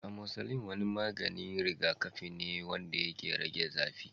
Amoxicillin wani maganin rigakafi ne wanda ke rage zafi.